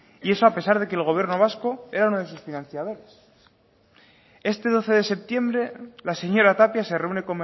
y eso a pesar de que el gobierno vasco era uno de sus financiadores este doce de septiembre la señora tapia se reúne